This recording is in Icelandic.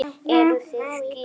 Eruð þið gift?